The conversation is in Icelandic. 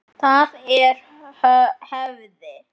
Það er hefð!